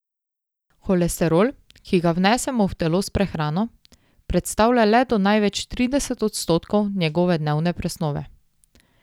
Holesterol, ki ga vnesemo v telo s prehrano, predstavlja le do največ trideset odstotkov njegove dnevne presnove.